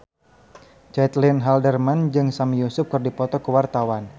Caitlin Halderman jeung Sami Yusuf keur dipoto ku wartawan